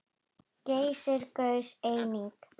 Geysir gaus einnig.